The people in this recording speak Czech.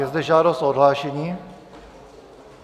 Je zde žádost o odhlášení.